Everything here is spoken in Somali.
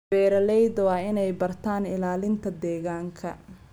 Beeralayda waa inay bartaan ilaalinta deegaanka.